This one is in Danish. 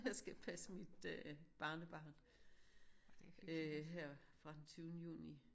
Jeg skal passe mit øh barnebarn øh her fra tyvende juni